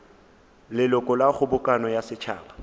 leloko la kgobokano ya setšhaba